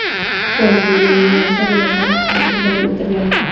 poyezd belgilangan yo‘nalish bo‘ylab harakatini davom ettirgan.